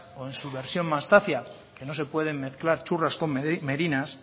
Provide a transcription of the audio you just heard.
o su versión más zafia que no se pueden mezclar churras con merinas